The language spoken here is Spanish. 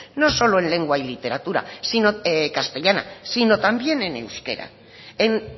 no solo en lengua y literatura castellana sino también en euskera en